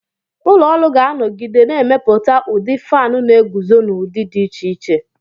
Ụlọ ọrụ ga-anọgide na-emepụta ndị fánu na-eguzo n'udi dị iche iche